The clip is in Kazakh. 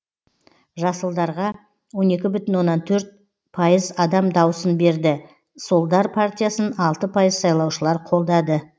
жасылдарға он екі бүтін оннан төрт пайыз адам даусын берді солдар партиясын алты пайыз сайлаушылар қолдады